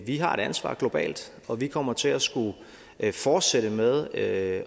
vi har et ansvar globalt og vi kommer til at skulle fortsætte med at